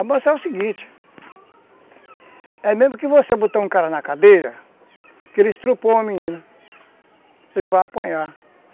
Amansar é o seguinte, é mesmo que você botar um cara na cadeia, que ele estuprou uma menina, ele vai apanhar.